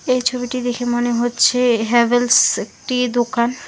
এই ছবিটি দেখে মনে হচ্ছে হ্যাভেলস একটি দোকান।